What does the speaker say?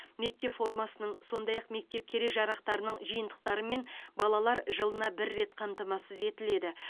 мектеп формасының сондай ақ мектеп керек жарақтарының жиынтықтарымен балалар жылына бір рет қамтамасыз етіледі